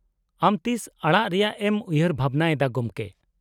-ᱟᱢ ᱛᱤᱥ ᱟᱲᱟᱜ ᱨᱮᱭᱟᱜ ᱮᱢ ᱩᱭᱦᱟᱹᱨ ᱵᱷᱟᱵᱱᱟ ᱮᱫᱟ ᱜᱚᱢᱠᱮ ?